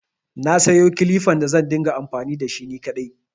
Na sayo kilifan da zan rinƙa amfani da shi ni kaɗai.